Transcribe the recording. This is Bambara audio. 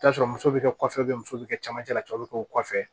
I bi t'a sɔrɔ muso be kɛ kɔfɛ muso be cɛmancɛ la cɛw be kɛ o kɔfɛ